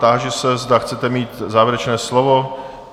Táži se, zda chcete mít závěrečné slovo?